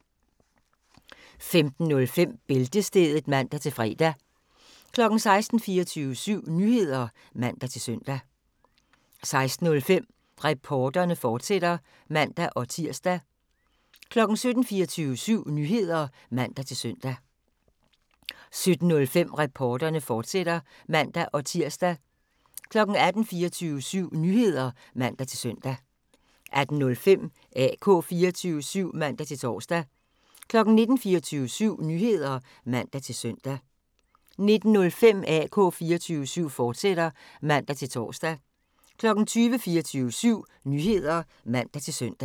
15:05: Bæltestedet (man-fre) 16:00: 24syv Nyheder (man-søn) 16:05: Reporterne, fortsat (man-tir) 17:00: 24syv Nyheder (man-søn) 17:05: Reporterne, fortsat (man-tir) 18:00: 24syv Nyheder (man-søn) 18:05: AK 24syv (man-tor) 19:00: 24syv Nyheder (man-søn) 19:05: AK 24syv, fortsat (man-tor) 20:00: 24syv Nyheder (man-søn)